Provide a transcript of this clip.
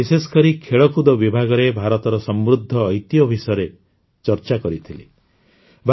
ସେଥିରେ ମୁଁ ବିଶେଷକରି ଖେଳକୁଦ ବିଭାଗରେ ଭାରତର ସମୃଦ୍ଧ ଐତିହ୍ୟ ବିଷୟରେ ଚର୍ଚ୍ଚା କରିଥିଲି